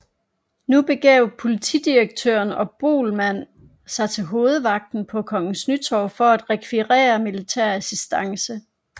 Nu begav politidirektøren og Boelmann sig til Hovedvagten på Kongens Nytorv for at rekvirere militær assistance